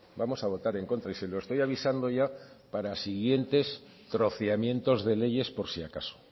vamos a votar en contra y se lo estoy avisando ya para siguientes troceamientos de leyes por si acaso